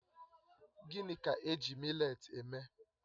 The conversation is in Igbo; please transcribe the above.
Gịnị ka-eji mị́letí eme?